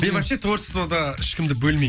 мен вообще творчествода ешкімді бөлмей